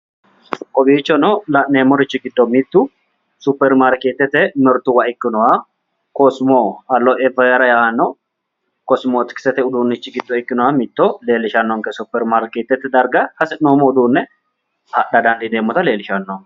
Kowiichono la'neemmorichi giddo mittu supermaarkeetete mirtuwa giddo mitto ikkinoha kosmo aloeveera yaanno kosimootikisete uduunnichi giddo ikkinoha mitto leellishannonke superimaarkeetete darga hasi'noommo uduunne adha dandiineemmota xawisanno.